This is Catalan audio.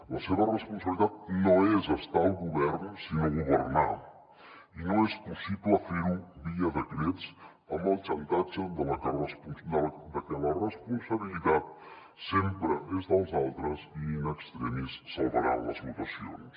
la seva responsabilitat no és estar al govern sinó governar i no és possible ferho via decrets amb el xantatge de que la responsabilitat sempre és dels altres i in extremis salvaran les votacions